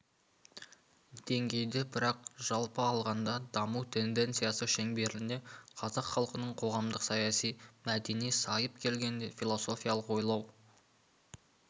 деңгейде бірақ жалпы алғанда даму тенденциясы шеңберінде қазақ халқының қоғамдық-саяси мәдени сайып келгенде философиялық ойлау